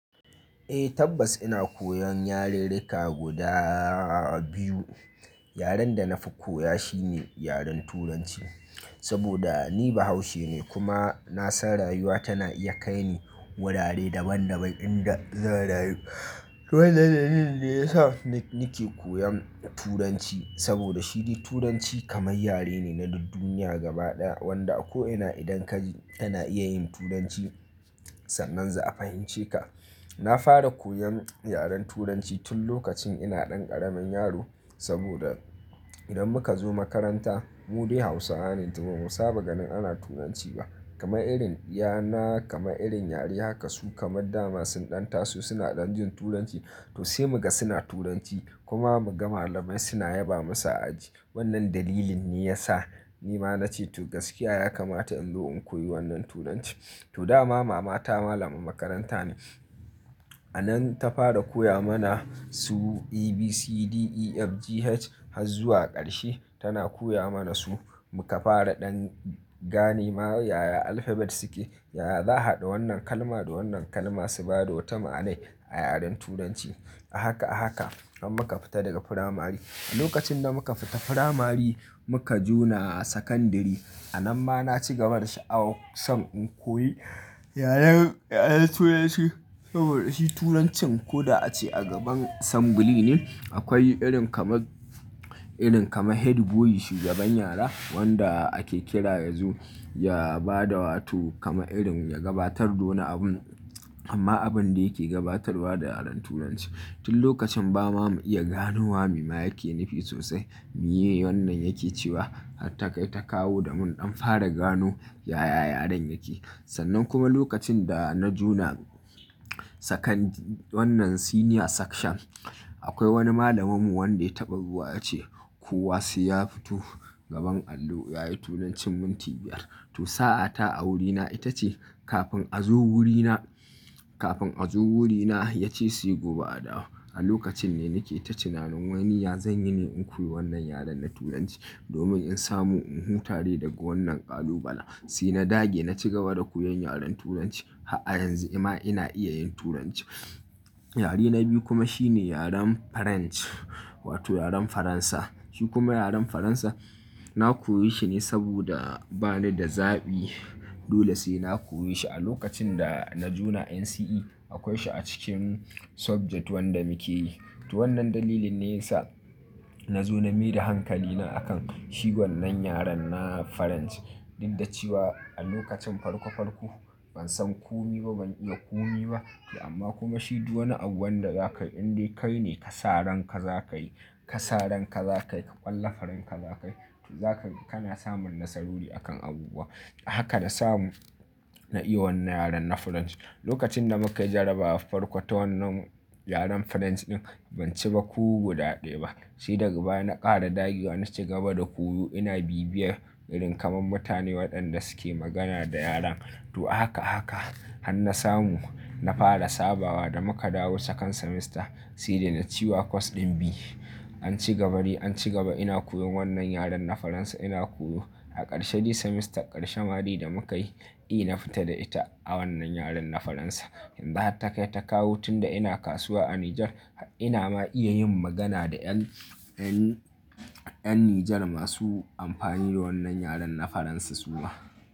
Eh tabbas ina koyan yarirrika guda biyu. Yaren da na fi koya shine yaren Turanci saboda ni Bahaushe ne kuma na san rayuwa tana iya kai ni wurare daban daban inda zan rayu. To wannan dalilin ne ya sa ni ke koyan Turanci saboda shi dai Turanci kamar yare ne na duniya gaba ɗaya wanda a ko ina idan ka je kana iya yin Turanci sannan za a fahimce ka. Na fara koyan yaren Turanci tun lokacin ina ɗan ƙaramin yaro saboda idan muka zo makaranta mu dai Hausawa ne to ba mu saba ganin ana Turanci ba. Kama irin biyana kama irin yari haka su kamar dama sun ɗan taso suna ɗan jin Turanci to sai muga suna Turanci kuma muga malamai suna yaba musu aji. Wannan dalilin ne ya sa ni ma na ce to gaskiya ya kamata in zo in koyi wannan Turanci. To dama mama ta malama makaranta ne. A nan ta fara koya mana su ABCDEFGH har zuwa ƙarshe tana koya mana su muka fara ɗan gane ma yaya alphabet suke, yaya za ka haɗa wannan kalma da wannan kalma su ba da wata ma'anai a yaren Turanci. A haka a haka an muka fita daga firamare. A lokacin da muka fita firamare muka juna a sakandare a nan ma na ci gaba da sha'awar son in koyi yaren, yaren Turanci saboda shi Turancin ko da a ce a gaban sambuli ne akwai irin kamar, irin kamar headboy shugaban yara wanda ake kira yanzu ya ba da wato kama irin ya gabatar da wani abu amma abun da yake gabatarwa da yaren Turanci. Tun lokacin ba ma mu iya gano wa me ma yake nufi sosai mu yi wannan yake cewa har ta kai ta kawo da mun ɗan fara gano yaya yaren yake. Sannan kuma lokacin da na juna sakandare wannan senior section akwai wani malaminmu wanda ya taɓar ruwa ya ce ko wasu ya fito gaban allo yayi Turancin minti biyar. To sa'a ta a wurina ita ce kafin a zo wurina, kafin a zo wurina ya ce sai gobe a dawo. A lokacin ne nake ta tinanin wai ni ya zan yi ne in koyi wannan yaren na Turanci domin in samu in hu dai daga wannan ƙalubala. Sai na dage na ci gaba da koyan yaren Turanci har a yanzu amma ina iya yin Turanci. Yare na biyu kuma shine yaren French wato yaren Faransa. Shi kuma yaren Faransa na koyi shi ne saboda bani da zaɓi dole sai na koyi shi a lokacin da na juna NCE akwai shi a cikin subject wanda muke yi. To wannan dalilin ne ya sa na zo na maida hankalina a kan shi wannan yaren na Farance Inda cewa a lokacin farko farko ban san kumi ba ban iya kumi ba amma kuma shi duk wani abun wanda za ka yi indai kai ne ka sa ranka za ka yi, ka sa ranka za ka yi, ka ƙwallafa ranka za ka yi to za ka, kana samun nasarori a kan abubuwa. Haka na samu na iya wannan yaren na Farance Lokacin da muka yi jarabawa a farko ta wannan yaren Farance ɗin ban ci ba ko guda ɗaya ba. Sai daga baya na ƙara dagiwa na ci gaba da koyo ina bibiyar irin kamar mutane waɗanda suke magana da yaren. To haka haka har na samu na fara sabawa da muka dawo second semester sai dai na ci wa course ɗin B. An ci gabadai an ci gaba ina koyon wannan yaren na Faransa ina koyo a ƙarshe shi semester ƙarshen mari da muka yi A na fita da ita a wannan yaren na Faransa. Yanzu har ta kai ta kawu tun da ina kasuwa a Nijar har ina ma iya yin magana da 'yan, 'yan, 'yan Nijar masu amfani da wannan yaren na Faransa suwa.